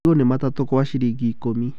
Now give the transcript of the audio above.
Marigũ nĩ matatũ kwa ciringi ikũmi.